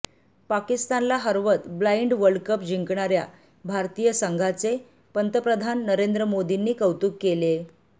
पाकिस्तानला हरवत blind world cup जिंकणाऱ्या भारतीय संघाचे पंतप्रधान नरेंद्र मोदींनी कौतुक केलेय